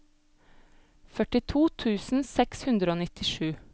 førtito tusen seks hundre og nittisju